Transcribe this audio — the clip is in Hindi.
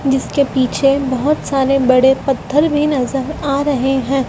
जिसके पीछे बहोत सारे बड़े पत्थर भी नजर आ रहे हैं।